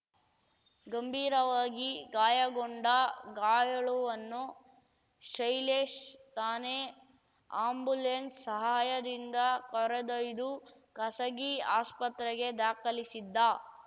ಗಂಭೀರವಾಗಿ ಗಾಯಗೊಂಡ ಗಾಯಾಳುವನ್ನು ಶೈಲೇಶ್‌ ತಾನೇ ಆ್ಯಂಬುಲೆನ್ಸ್‌ ಸಹಾಯದಿಂದ ಕರೆದೊಯ್ದು ಖಸಗಿ ಆಸ್ಪತ್ರೆಗೆ ದಾಖಲಿಸಿದ್ದ